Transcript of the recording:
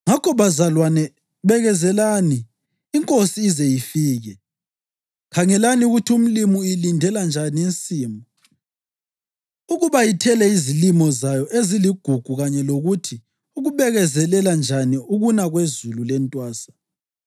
Ngakho, bazalwane, bekezelani iNkosi ize ifike. Khangelani ukuthi umlimi uyilindela njani insimu ukuba ithele izilimo zayo eziligugu kanye lokuthi ukubekezelela njani ukuna kwezulu lentwasa.